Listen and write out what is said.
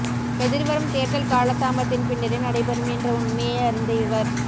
எதிர்வரும் தேர்தல் காலதாமதத்தின் பின்னரே நடைபெறும் என்ற உண்மையை அறிந்த இவர்